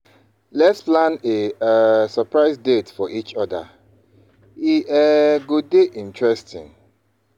Let’s plan a um surprise date for each other; e um go dey interesting.